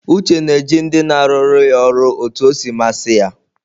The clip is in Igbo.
Uche na-eji ndị na arụ ya ọrụ otu ọ si masị ya.